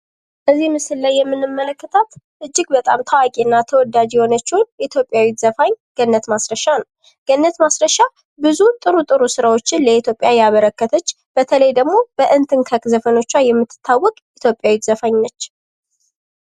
በዚህ ምስል ላይ የምንመለከታት እጅግ በጣም ታዋቂና ተወዳጅ የሆነችው ዘፋኝ ገነት ማስረሻ ናት። ገነት ማስረሻ ብዙ ጥሩ ጥሩ ስራዎችን ለኢትዮጵያ ያበረከተች በተለይ ደግሞ በዘፈኖቿ የምትታወቅ ኢትዮጵያዊ ዘፋኝ ነች።